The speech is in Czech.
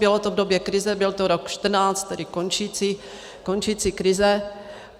Bylo to v době krize, byl to rok 2014, tedy končící krize.